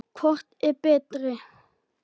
Hvor er svo betri?